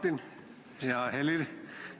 Hea Martin!